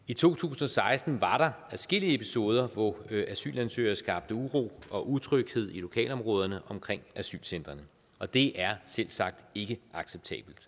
i to tusind og seksten var der adskillige episoder hvor asylansøgere skabte uro og utryghed i lokalområderne omkring asylcentrene og det er selvsagt ikke acceptabelt